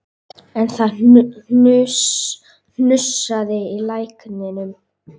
En það hnussaði í lækninum